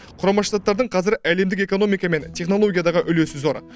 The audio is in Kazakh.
құрама штаттардың қазір әлемдік экономика мен технологиядағы үлесі зор